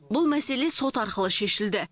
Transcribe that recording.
бұл мәселе сот арқылы шешілді